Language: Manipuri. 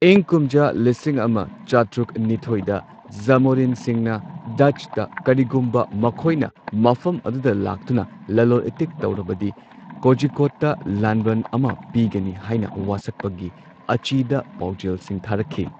ꯏꯪ ꯀꯨꯝꯖꯥ ꯂꯤꯁꯤꯡ ꯑꯃ ꯆꯥꯇ꯭ꯔꯨꯛ ꯅꯤꯊꯣꯏꯗ ꯖꯥꯃꯣꯔꯤꯟꯁꯤꯡꯅ ꯗꯆꯇ ꯀꯔꯤꯒꯨꯝꯕ ꯃꯈꯣꯏꯅ ꯃꯐꯝ ꯑꯗꯨꯗ ꯂꯥꯛꯇꯨꯅ ꯂꯂꯣꯜ ꯏꯇꯤꯛ ꯇꯧꯔꯕꯗꯤ ꯀꯣꯖꯤꯀꯣꯗꯇ ꯂꯥꯟꯕꯟ ꯑꯃ ꯄꯤꯒꯅꯤ ꯍꯥꯏꯅ ꯋꯥꯁꯛꯄꯒꯤ ꯑꯥꯆꯦꯗ ꯄꯥꯎꯖꯦꯜꯁꯤꯡ ꯊꯥꯔꯛꯈꯤ꯫